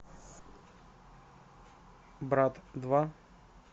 брат два